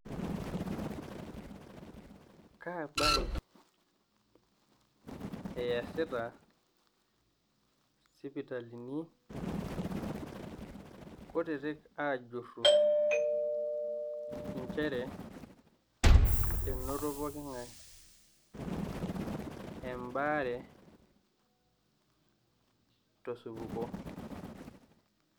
kaabae easita sipitalini kutiti ajuru, injere enoto pookin ng'ae embaare tosupuko